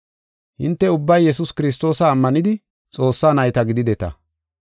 Hinte ubbay Yesuus Kiristoosa ammanidi Xoossaa nayta gidideta.